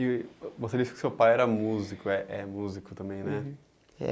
E você disse que seu pai era músico, é é músico também uhum, né? É